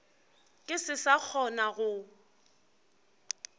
ke se sa kgona go